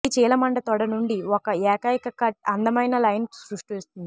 ఈ చీలమండ తొడ నుండి ఒక ఏకైక కట్ అందమైన లైన్ సృష్టిస్తుంది